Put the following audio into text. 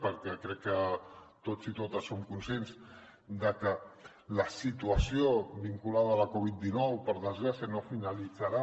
perquè crec que tots i totes som conscients de que la situació vinculada a la covid dinou per desgràcia no finalitzarà